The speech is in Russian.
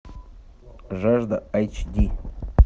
жажда айч ди